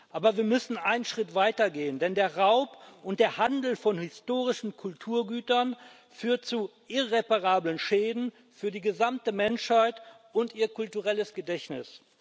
Aber wir müssen einen Schritt weiter gehen, denn der Raub und der Handel von historischen Kulturgütern führen zu irreparablen Schäden für die gesamte Menschheit und ihr kulturelles Gedächtnis.